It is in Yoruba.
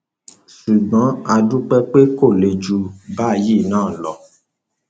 ṣùgbọn a dúpẹ pé kò le jù báyìí náà lọ